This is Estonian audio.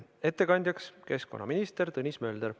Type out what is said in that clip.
Ettekandja on keskkonnaminister Tõnis Mölder.